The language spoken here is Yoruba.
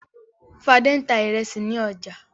Fadé ń ta ìrẹsì ní ọjà.